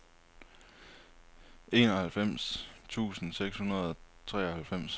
enoghalvfems tusind seks hundrede og treoghalvfems